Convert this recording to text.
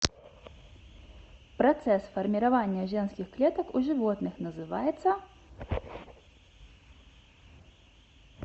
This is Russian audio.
процесс формирования женских клеток у животных называется